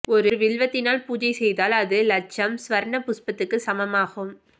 ஒரு வில்வத்தினால் பூசை செய்தால் அது லட்சம் ஸ்வர்ண புஷ்பத்துக்குச் சமமாகும்